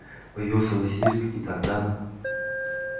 появится василиск и тогда